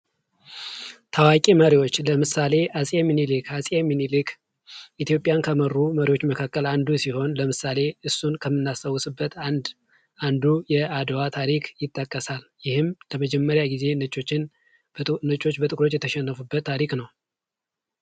ታዋቂ መሪዎች ለምሳሌ አጼ ምኒልክ፦ አጼ ሚኒሊክ ኢትዮጵያን ከመሩ መሪዎች መካከል አንዱ ሲሆን ለምሳሌ እሱን ከምናስታውስበት አንዱ የአድዋ ታሪክ ይጠቀሳል ፤ይህም ለመጀመሪያ ጊዜ ነጮች በጥቁሮች የተሸነፉበት ታሪክ ነው።